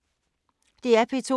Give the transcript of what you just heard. DR P2